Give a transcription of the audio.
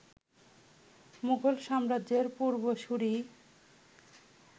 মুঘল সাম্রাজ্যের পূর্বসূরি